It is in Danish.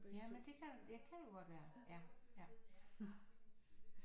Jamen det kan det kan jo godt være ja